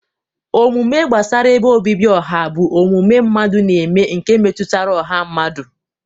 Omume gbasara ebe obibi ọha bụ omume mmadụ na-eme nke metụtara ọha mmadụ.